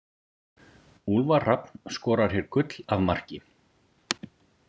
Úlfar Hrafn skorar hér gull af marki.